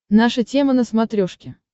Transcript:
наша тема на смотрешке